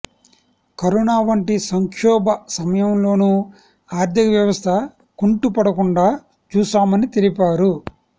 corona వంటి సంక్షోభ సమయంలోనూ ఆర్థిక వ్యవస్థ కుంటుపడకుండా చూశామని తెలిపారు